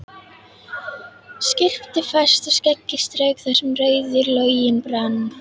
Skyrpti fast og skeggið strauk þar sem rauður loginn brann.